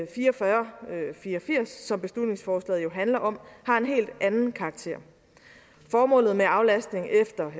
fire og fyrre som beslutningsforslaget jo handler om har en helt anden karakter formålet med aflastning efter